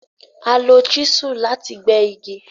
À lọ chísù lati pè igi.